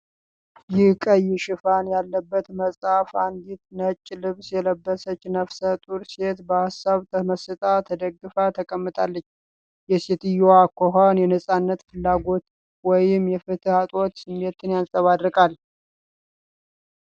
ይህ ቀይ ሽፋን ያለበት መጽሐፍ አንዲት ነጭ ልብስ የለበሰች ነፍሰ ጡር ሴት በሀሳብ ተመስጣ ተደግፋ ተቀምጣለች። የሴትየዋ አኳኋን የነፃነት ፍላጎት ወይም የፍትህ እጦት ስሜትን ያንጸባርቃል።